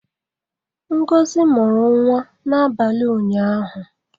Ngozi mụrụ nwa n'abalị ụnyaahụ.